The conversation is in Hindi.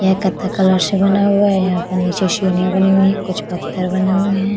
यहां कठे कलर से बना हुआ है। यहाँ पर नीचे सीढ़िया बनी हुई कुछ पत्थर बने हुए हैं।